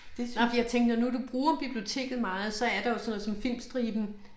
Det synes jeg for jeg tænker når nu du bruger biblioteket meget så er der jo sådan noget som Filmstriben